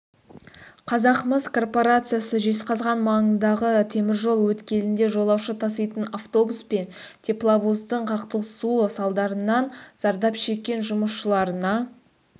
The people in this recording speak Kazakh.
қазақмыс корпорациясы жезқазған маңындағы теміржол өткелінде жолаушы таситын автобус пен тепловоздың қақтығысуы салдарынан зардап шеккен жұмысшыларына